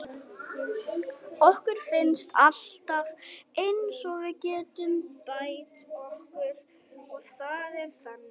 Okkur finnst alltaf eins og við getum bætt okkur og það er þannig.